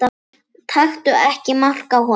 Taktu ekki mark á honum.